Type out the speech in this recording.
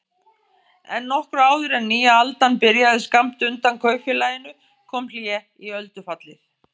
En nokkru áður en nýja aldan byrjaði skammt undan kaupfélaginu kom hlé í öldufallið.